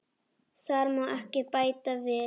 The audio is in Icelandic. Þar má ekki bæta við.